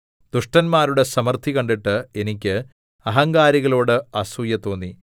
ദുഷ്ടന്മാരുടെ സമൃദ്ധി കണ്ടിട്ട് എനിക്ക് അഹങ്കാരികളോട് അസൂയ തോന്നി